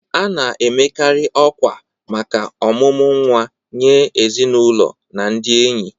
A na-amekarị ọkwa maka omumu nwa nye ezinụlọ na ndị enyi.